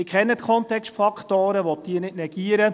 Ich kenne die Kontextfaktoren und will diese nicht negieren.